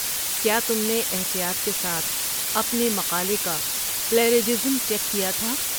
کیا تم نے احتیاط کے ساتھ اپنے مقالے کا پلیجرازم چیک کیا تھا؟